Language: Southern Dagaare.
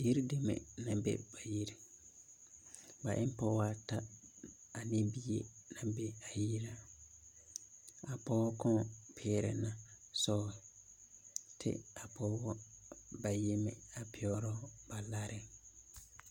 Yiri deme nang be ba yiring ba en pɔgba ata ane bie nang be a yiring a poɔ kang piere na sɔgru kye ka a pɔgba bayi meng pegre ba lari.